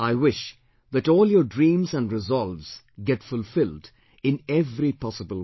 I wish that all your dreams and resolves get fulfilled in every possible way